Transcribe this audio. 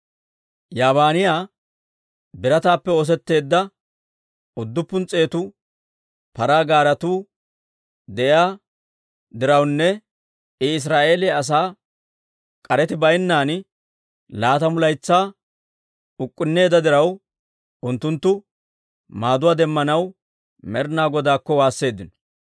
Yaabinayya birataappe oosetteedda udduppun s'eetu paraa gaaretuu de'iyaa dirawunne I Israa'eeliyaa asaa k'areti baynnan laatamu laytsaa uk'k'unneedda diraw, unttunttu maaduwaa demmanaw Med'inaa Godaakko waasseeddino.